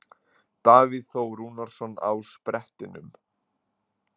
Davíð Þór Rúnarsson á sprettinum.